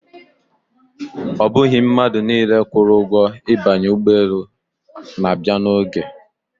Ọ bụghị mmadụ niile kwụrụ ụgwọ ibanye ụgbọelu na-abịa n'oge.